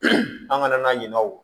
an kana na ɲina o kɔ